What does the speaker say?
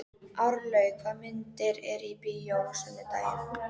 Árlaug, hvaða myndir eru í bíó á sunnudaginn?